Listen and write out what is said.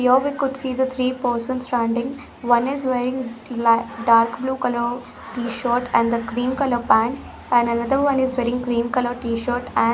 Here we could see the three person standing. One is wearing la dark blue color t-shirt and the cream color pant and another one is wearing cream color t-shirt and --